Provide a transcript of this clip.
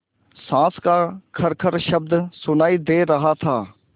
साँस का खरखर शब्द सुनाई दे रहा था